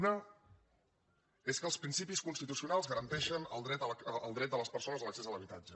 una és que els principis constitucionals garanteixen el dret de les persones a l’accés a l’habitatge